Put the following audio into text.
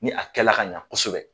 Ni a kɛ la ka ɲa kosɛbɛ.